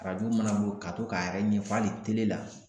Arajo mana bo ye ka to k'a yɛrɛ ɲɛfɔ ali tele la